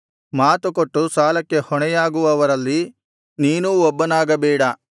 ಮಾತುಕೊಟ್ಟು ಸಾಲಕ್ಕೆ ಹೊಣೆಯಾಗುವವರಲ್ಲಿ ನೀನೂ ಒಬ್ಬನಾಗಬೇಡ